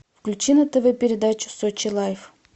включи на тв передачу сочи лайф